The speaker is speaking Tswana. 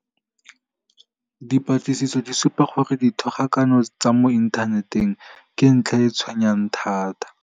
Dipatlisiso di supa gore dithogakano tsa mo inthaneteng ke ntlha e e tshwenyang thata.